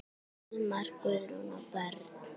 Almar, Guðrún og börn.